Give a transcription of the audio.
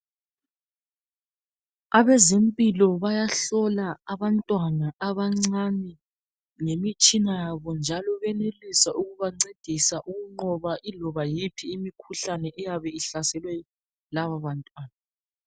Abezempilo bayahlola abantwana abancane ngemitshina yabo njalo benelisa ukubancedisa ukunqoba iloba yiphi imikhuhlane eyabe ihlasele labo bantwana.